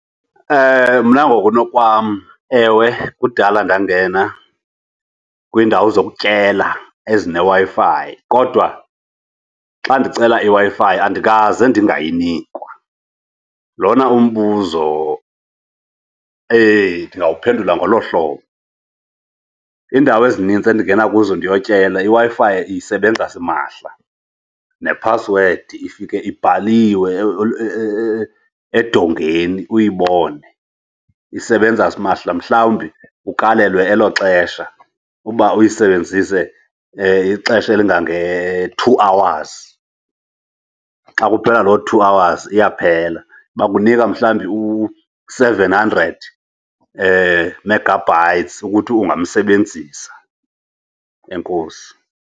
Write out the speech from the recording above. Mna ngokunokwam, ewe kudala ndangena kwiindawo zokutyela ezineWi-Fi kodwa xa ndicela iWi-Fi andikaze ndingayinikwa. Lona umbuzo eyi, ndingawuphendula ngolo hlobo. Iindawo ezinintsi endingena kuzo ndiyotyela, iWi-Fi isebenza simahla nephasiwedi ifike ibhaliwe edongeni uyibone. Isebenza simahla, mhlawumbi ukalelwe elo xesha uba uyisebenzise ixesha elingange-two hours. Xa kuphela loo two hours iyaphela, bakunika mhlawumbi u-seven hundred megabytes ukuthi ungamsebenzisa. Enkosi.